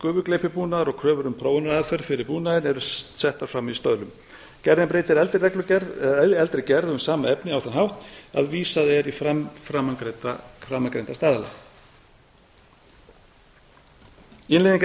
kröfur um lágmarksafköst gufugleypibúnaðar og kröfur um prófunaraðferð fyrir búnaðinn eru settar fram í stöðlum gerðin breytir eldri reglugerð eldri gerð um sama efni á þann hátt að vísað er í framangreinda staðla innleiðing